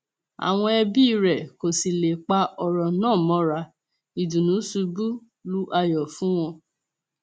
àwọn ẹbí rẹ kò sì lè pa ọrọ náà mọra ìdùnnú ṣubú lu ayọ fún wọn